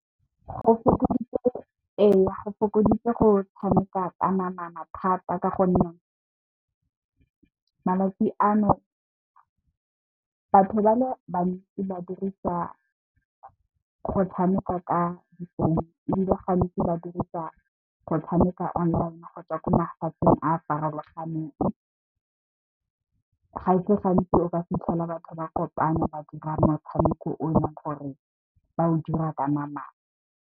Ee go fokoditse go tshameka ka namana thata ka gonne, malatsi ano batho ba le bantsi ba dirisa go tshameka ka difounu ebile, gantsi ba dirisa go tshameka online gotswa ko mafatsheng a a farologaneng. Ga se gantsi o ka fitlhela batho ba kopane ba dira motshameko o eleng gore ba o dira ka namane.